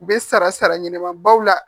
U bɛ sara sara ɲɛnɛma baw la